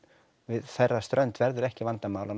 við þeirra strönd verður ekki vandamál á